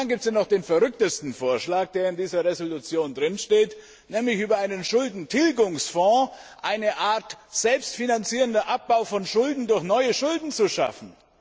Dann gibt es ja noch den verrücktesten Vorschlag, der in dieser Entschließung steht, nämlich über einen Schuldentilgungsfonds eine Art selbstfinanzierenden Abbau von Schulden durch neue Schulden zu schaffen.